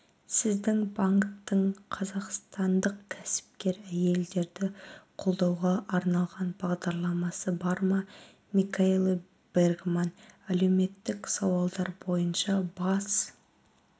сіздің банктің қазақстандық кәсіпкер әйелдерді қолдауға арналған бағдарламасы бар ма микаэла бергман әлеуметтік сауалдар бойынша бас